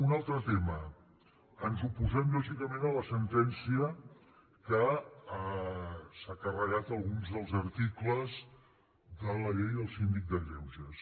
un altre tema ens oposem lògicament a la sentència que s’ha carregat alguns dels articles de la llei del síndic de greuges